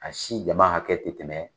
A si jama hakɛ te tɛmɛ